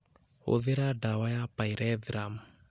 Hũthĩra ndawa ya pyrethrum